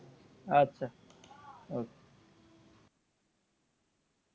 আচ্ছা okay